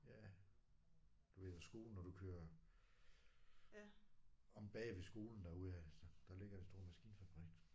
Ja du ved ved skolen når du kører om bagved skolen derudaf så der ligger en stor maskinfabrik